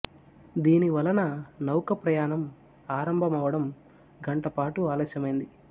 దీని వలన నౌక ప్రయాణం ఆరంభమవడం గంట పాటు ఆలస్యమైంది